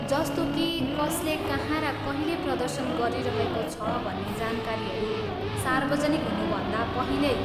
जस्तो कि कसले कहाँ र कहिले प्रदर्शन गरिरहेको छ भन्ने जानकारीहरू सार्वजनिक हुनुभन्दा पहिल्यै?